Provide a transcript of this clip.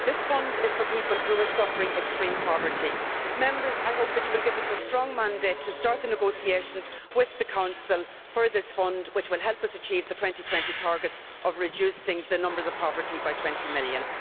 This fund is for people who are suffering extreme poverty. Members, I hope that you will give us a strong mandate to start the negotiations with the Council for this fund which will help us achieve the 2020 target of reducing the number of those living in poverty by 20 million.